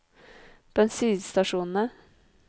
bensinstasjonene